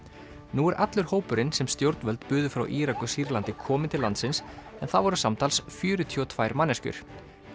nú er allur hópurinn sem stjórnvöld buðu frá Írak og Sýrlandi komin til landsins en það voru samtals fjörutíu og tvær manneskjur